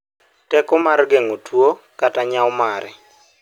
teko mar gengo tuo kata nyau mare